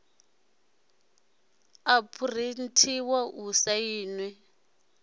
a phurinthiwa i sainwe i